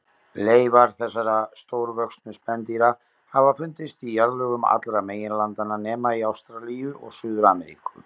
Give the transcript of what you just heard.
Leifar þessara stórvöxnu spendýra hafa fundist í jarðlögum allra meginlandanna nema í Ástralíu og Suður-Ameríku.